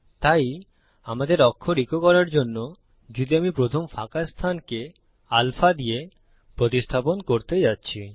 তাই আমাদের অক্ষর ইকো করার জন্যযদি আমি প্রথম ফাঁকা স্থানকে আলফা দিয়ে প্রতিস্থাপন করতে যাচ্ছি